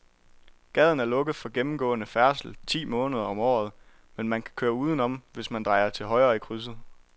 Gaden er lukket for gennemgående færdsel ti måneder om året, men man kan køre udenom, hvis man drejer til højre i krydset.